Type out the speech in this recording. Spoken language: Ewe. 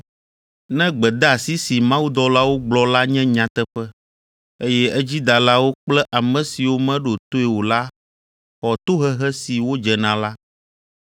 Ne gbedeasi si mawudɔlawo gblɔ la nye nyateƒe, eye edzidalawo kple ame siwo meɖo toe o la xɔ tohehe si wodze na la,